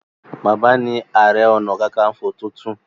Bàbá ní are onakakanfo títún.